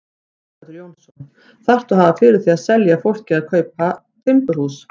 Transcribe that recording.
Sighvatur Jónsson: Þarftu að hafa fyrir því að selja fólki að kaupa timburhús?